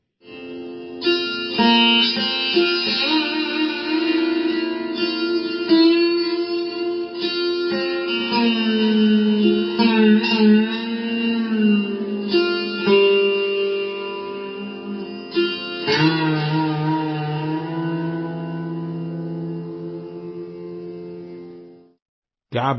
sound clip 21 seconds instrument Sursingar artist Joydeep Mukherjee